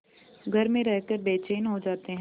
घर में रहकर बेचैन हो जाते हैं